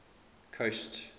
coast